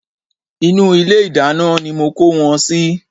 Inú ilé ìdáná ni mo kó wọn sí